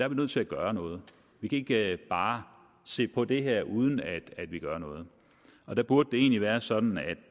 er nødt til at gøre noget vi kan ikke bare se på det her uden at vi gør noget og der burde det egentlig være sådan at